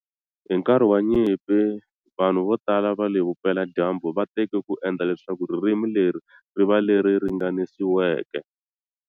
Hi nkarhi wa nyimpi vanhu vo tala va le Vupela-dyambu va teke ku endla leswaku ririmi leri ri va leri ringaniseriweke.